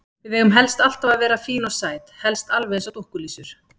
Við eigum helst alltaf að vera fín og sæt, helst alveg eins og dúkkulísur.